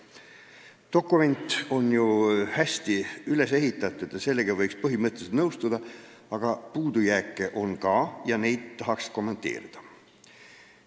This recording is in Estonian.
Dokument on ju hästi üles ehitatud ja sellega võiks põhimõtteliselt nõustuda, aga puudujääke on ka ning neid tahaksingi kommenteerida.